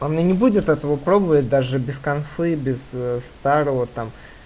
она не будет этого пробовать даже без конфы без старого там